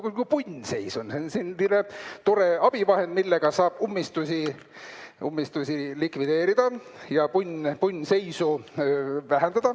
Punnseisu korral on selline tore abivahend, millega saab ummistusi likvideerida ja punnseisu vähendada.